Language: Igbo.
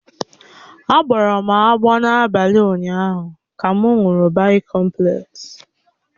Á gboọ́rọ́ m n'abalị ụnyaahụ ka m ṅụrụ bịkọmplesi